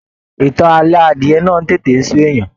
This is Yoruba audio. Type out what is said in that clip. Ìtàn ààlọ́ adiẹ náà tètè n sú èèyàn.